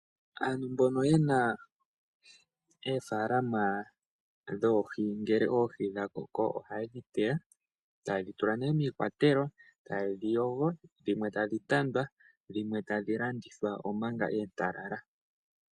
Aantu mbono yena eefalama dhoohi ngele oohi dha koko ohayedhi teya tayedhi tula mikwatelo tayedhi yogo dhimwe tayedhi tanda dhimwe tayedhi landitha omanga oontalala.